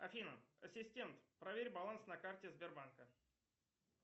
афина ассистент проверь баланс на карте сбербанка